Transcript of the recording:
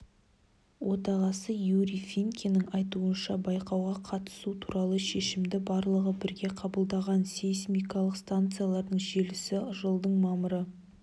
отағасы юрий финкенің айтуынша байқауға қатысу туралы шешімді барлығы бірге қабылдаған сейсмикалық станциялардың желісі жылдың мамыры